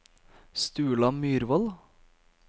Sturla Myrvold